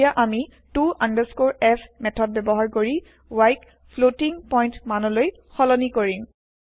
এতিয়া আমি ত আণ্ডাৰস্কৰে f মেঠদ ব্যৱহাৰ কৰি yক ফ্লটিং পইন্ট মান লৈ সলনি কৰিম